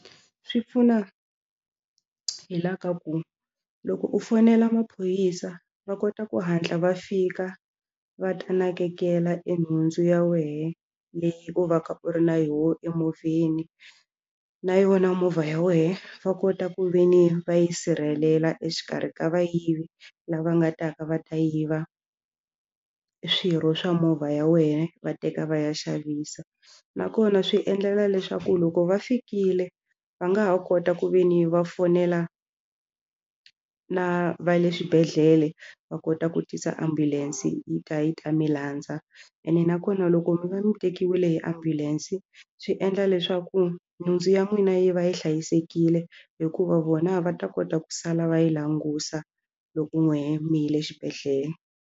Swi pfuna hi la ka ku loko u fonela maphorisa va kota ku hatla va fika va ta nakekela e nhundzu ya wena leyi u va ka u ri na yoho emovheni na yona movha ya wena va kota ku ve ni va yi sirhelela exikarhi ka vayivi lava nga ta ka va ta yiva swirho swa movha ya wena va teka va ya xavisa nakona swi endlela leswaku loko va fikile va nga ha kota ku ve ni va fonela na va le swibedhlele va kota ku tisa ambulense yi ta yi ta mi landza ene nakona loko mi va mi tekiwile hi ambulense swi endla leswaku nhundzu ya n'wina yi va yi hlayisekile hikuva vona va ta kota ku sala va yi langusa loko n'wina mi yile xibedhlele.